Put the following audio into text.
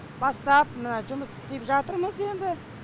бастап мына жұмыс істеп жатырмыз енді